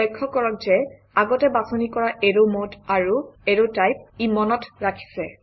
লক্ষ্য কৰক যে আগতে বাছনি কৰা এৰৱ মদে আৰু এৰৱ টাইপ ই মনত ৰাখিছে